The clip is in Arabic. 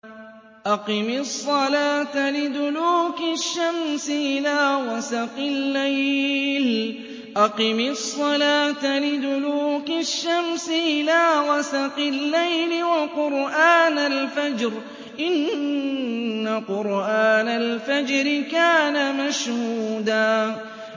أَقِمِ الصَّلَاةَ لِدُلُوكِ الشَّمْسِ إِلَىٰ غَسَقِ اللَّيْلِ وَقُرْآنَ الْفَجْرِ ۖ إِنَّ قُرْآنَ الْفَجْرِ كَانَ مَشْهُودًا